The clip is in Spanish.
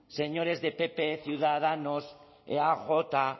señores del pp ciudadanos eaj